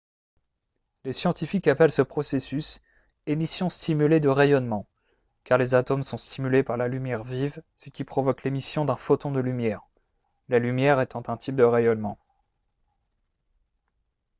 les scientifiques appellent ce processus « émission stimulée de rayonnement » car les atomes sont stimulés par la lumière vive ce qui provoque l’émission d’un photon de lumière la lumière étant un type de rayonnement